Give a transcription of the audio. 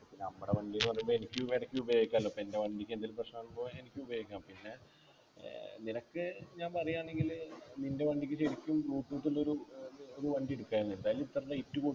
നമ്മടെ വണ്ടിന്നു പറയുമ്പോ എനിക്കും ഇടക്ക് ഉപയോഗിക്കലോ പ്പോ എൻ്റെ വണ്ടിക്കെന്തെലും പ്രശ്നമാകുമ്പോ എനിക്കു ഉപയോഗിക്കാം പിന്നെ നിനക്ക് ഞാൻ പറയാണെങ്കില് നിൻ്റെ വണ്ടിക്ക് ശരിക്കും നോക്കിട്ടുന്നൊരു ഏർ ഒരു വണ്ടി എടുക്കാ അല്ലെ ന്തായാലും ഇത്ര rate കൊട്